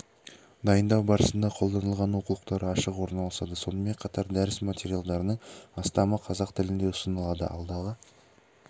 дайындау барысында қолданылған оқулықтар ашық орналасады сонымен қатар дәріс материалдарының астамы қазақ тілінде ұсынылады алдағы